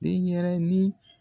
Den ɲɛrɛnin